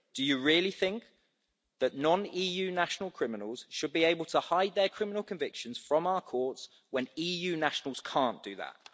Do you really think that criminals who are non EU nationals should be able to hide their criminal convictions from our courts when EU nationals cannot do that?